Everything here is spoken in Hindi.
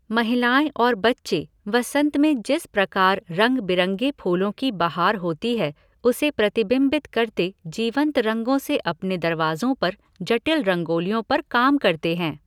महिलाएँ और बच्चे वसंत में जिस प्रकार रंग बिरंगे फूलों की बहार होती है उसे प्रतिबिंबित करते जीवंत रंगों से अपने दरवाजों पर जटिल रंगोलियों पर काम करते हैं।